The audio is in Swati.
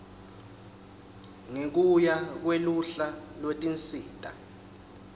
ngekuya kweluhla lwetinsita